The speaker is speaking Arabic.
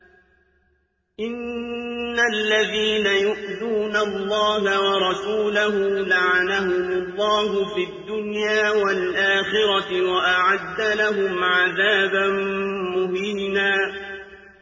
إِنَّ الَّذِينَ يُؤْذُونَ اللَّهَ وَرَسُولَهُ لَعَنَهُمُ اللَّهُ فِي الدُّنْيَا وَالْآخِرَةِ وَأَعَدَّ لَهُمْ عَذَابًا مُّهِينًا